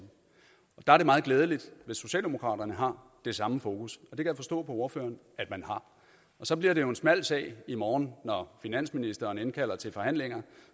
der er det meget glædeligt hvis socialdemokraterne har det samme fokus og det kan jeg forstå på ordføreren at man har så bliver det jo en smal sag i morgen når finansministeren indkalder til forhandlinger